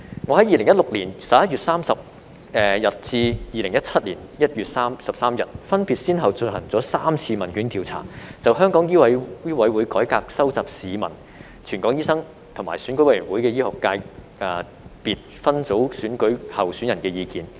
我在2016年11月30日至2017年 l 月13日，分別先後進行了3次問卷調査，就醫委會改革收集市民、全港醫生，以及選舉委員會醫學界別分組選舉候選人的意見。